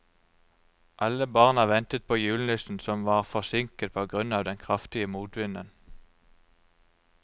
Alle barna ventet på julenissen, som var forsinket på grunn av den kraftige motvinden.